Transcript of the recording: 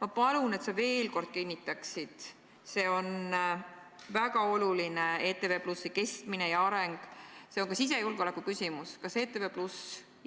Ma palun, et sa veel kord ütleksid – ETV+ kestmine ja areng on väga oluline, see on ka sisejulgeoleku küsimus –, kas ETV+